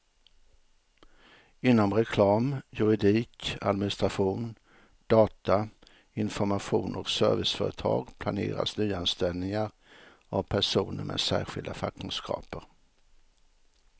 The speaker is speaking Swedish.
Inom reklam, juridik, administration, data, information och serviceföretag planeras nyanställningar av personer med särskilda fackkunskaper.